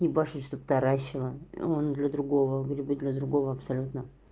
ебашут чтобы таращило он для другого грибы для другого абсолютно